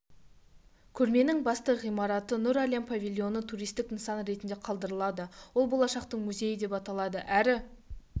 көрменің басты ғимараты нұр әлем павильоны туристік нысан ретінде қалдырылады ол болашақтың музейі деп аталады әрі